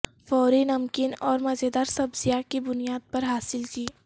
فوری نمکین اور مزیدار سبزیاں کی بنیاد پر حاصل کی